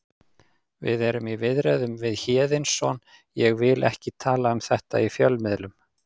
Við erum í viðræðum við Héðinsson ég vil ekki tala um þetta í fjölmiðlum.